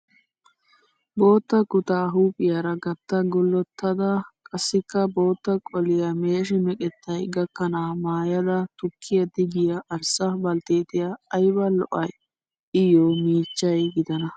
Bootta kutaa huuphphiyaara gatta gullottida qassikka bootta qoliyaa meeshi meqettayi gakkana maayida tukkiyaa tigiyaa arssa baltteetiyaa ayiba lo'ayi. Iyyoo miichchayi gidana.